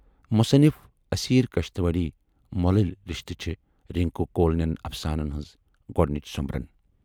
مُصنِف اسیرؔ کشتواڑی مۅلٕلۍ رِشتہٕ چھے رِنکوٗ کول نٮ۪ن اَفسانَن ہٕنز گۅڈنِچ سومبرن